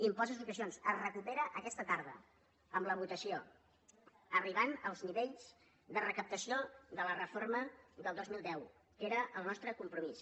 impost de successions es recupera aquesta tarda amb la votació per arribar als nivells de recaptació de la reforma del dos mil deu que era el nostre compromís